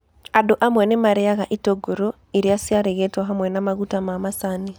Andũ amwe nĩ maarĩaga itũngũrũ iria ciarigĩtwo hamwe na maguta ma macani.